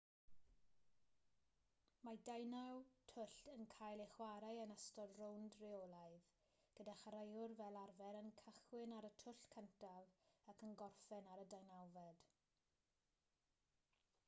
mae deunaw twll yn cael eu chwarae yn ystod rownd reolaidd gyda chwaraewyr fel arfer yn cychwyn ar y twll cyntaf ac yn gorffen ar y deunawfed